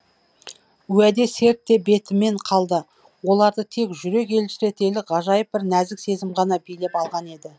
уәде серт те бетімен қалды оларды тек жүрек елжіретелік ғажайып бір нәзік сезім ғана билеп алған еді